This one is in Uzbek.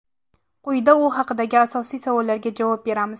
Quyida u haqdagi asosiy savollarga javob beramiz.